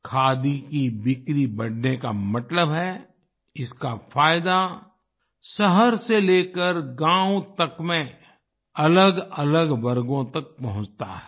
खादी की बिक्री बढ़ने का मतलब है इसका फायदा शहर से लेकर गाँव तक में अलगअलग वर्गों तक पहुंचता है